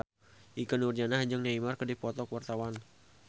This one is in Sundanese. Ikke Nurjanah jeung Neymar keur dipoto ku wartawan